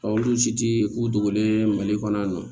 olu si tɛ u dogolen mali kɔnɔ yan nɔ